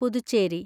Puducherry